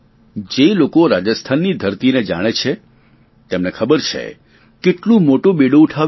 જે લોકો રાજસ્થાનની ધરતીને જાણે છે તેમને ખબર છે કે કેટલું મોટું બીડું ઉઠાવ્યું છે